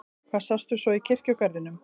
Hvað sástu svo í kirkjugarðinum?